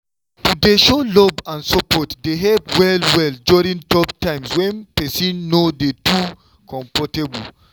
to dey show love and support dey help well-well during tough times when person no too dey comfortable.